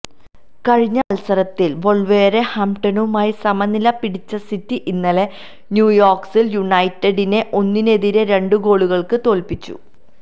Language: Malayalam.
കഴിഞ്ഞ മത്സരത്തില് വോള്വര് ഹാംപ്ടണുമായി സമനില പിടിച്ച സിറ്റി ഇന്നലെ ന്യൂകാസില് യുണൈറ്റഡിനെ ഒന്നിനെതിരെ രണ്ട് ഗോളുകള്ക്ക് തോല്പ്പിച്ചു